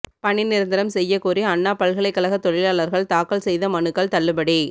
பணி நிரந்தரம் செய்யக் கோரி அண்ணா பல்கலைக்கழக தொழிலாளா்கள் தாக்கல் செய்த மனுக்கள் தள்ளுபடி